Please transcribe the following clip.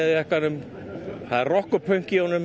það er rokk og pönk í honum og við fílum það